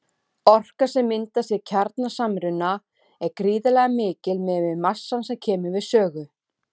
Orkan sem myndast við kjarnasamruna er gríðarlega mikil miðað við massann sem kemur við sögu.